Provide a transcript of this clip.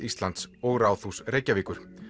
Íslands og Ráðhús Reykjavíkur